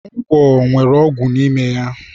Ngwọ nwere ọgwụ n'ime ya.